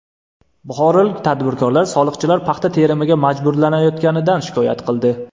Buxorolik tadbirkorlar soliqchilar paxta terimiga majburlayotganidan shikoyat qildi.